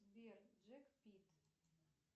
сбер джек пит